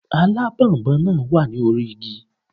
Alábònboǹ náà wà ní orí igi